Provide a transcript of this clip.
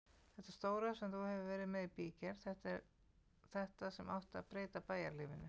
Þetta stóra sem þú hefur verið með í bígerð, þetta sem átti að breyta bæjarlífinu.